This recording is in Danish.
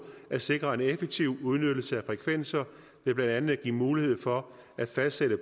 at sikre en effektiv udnyttelse af frekvenser ved blandt andet at give mulighed for at fastsætte